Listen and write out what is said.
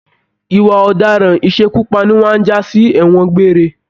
Ìwà ọdaràn isekupani máa n jasi ẹwọn gbéré.